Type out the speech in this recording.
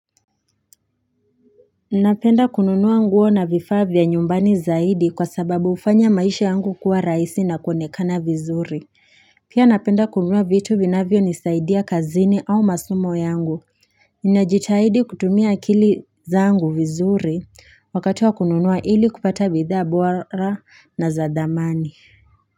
Napenda kununua nguo na vifaa vya nyumbani zaidi kwa sababu hufanya maisha yangu kuwa rahisi na kuonekana vizuri Pia napenda kununua vitu vinavyo nisaidia kazini au masomo yangu ninajitaidi kutumia akili zangu vizuri wakati wa kununua ili kupata bidhaa bora na za dhamani.